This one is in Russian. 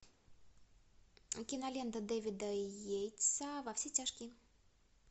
кинолента дэвида йейтса во все тяжкие